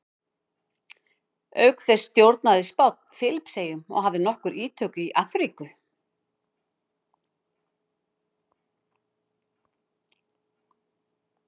auk þessa stjórnaði spánn filippseyjum og hafði nokkur ítök í afríku